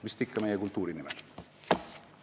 Vist ikka meie kultuuri nimel.